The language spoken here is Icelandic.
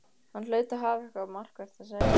Hann hlaut að hafa eitthvað markvert að segja.